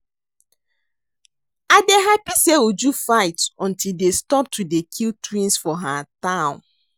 I dey happy say Uju fight until dey stop to dey kill twins for her town